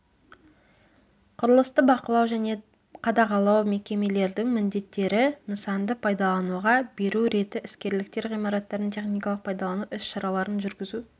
құрылысты бақылау және қадағалау мекемелердің міндеттері нысанды пайдалануға беру реті іскерліктер ғимараттардың техникалық пайдалану іс-шараларын жүргізу